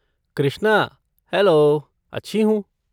Krishna, hello, अच्छी हूँ।